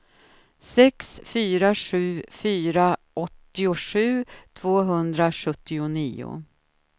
sex fyra sju fyra åttiosju tvåhundrasjuttionio